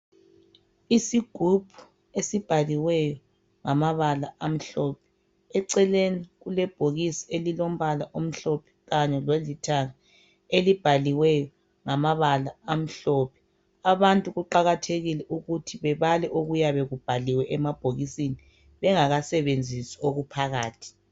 Isigubhu esibhaliweyo ngamabala amhlophe eceleni kulebhokisi elilombala omhlophe kanye lolithanga elibhaliweyo ngamabala amhlophe . Abantu kuqakathekile ukuthi babale okuyabe kubhaliwe emabhokisini bengakasebenzisi okuphakathi.